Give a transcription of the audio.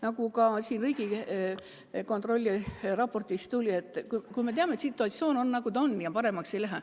Nagu ka Riigikontrolli raportist välja tuli, me teame, et situatsioon on, nagu ta on, ja paremaks ei lähe.